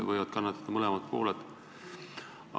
Võivad kannatada mõlemad pooled.